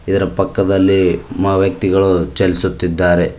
ಇದರ ಪಕ್ಕದಲ್ಲಿ ಮ ವ್ಯಕ್ತಿಗಳು ಚಲಿಸುತ್ತಿದ್ದಾರೆ.